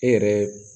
E yɛrɛ